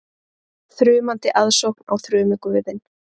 Þrumandi aðsókn á þrumuguðinn